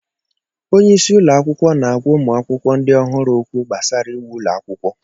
Onye isi ụlọ akwụkwọ na-ágwá ụmụ akwụkwọ ndị ọhụrụ okwu gbasara íwú ụlọ akwụkwọ